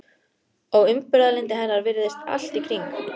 Og umburðarlyndi hennar virðist allt í kring.